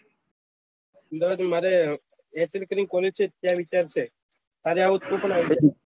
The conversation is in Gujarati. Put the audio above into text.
અહમદાવાદ માં મારે mechanical ની college છે ત્યાં લેવાનું મારો વિચાર છે તારે આવું હોય તું પણ આવી જા